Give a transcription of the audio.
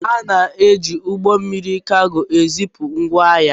Ana-eji ụgbọ mmiri kago ezipu ngwá ahịa.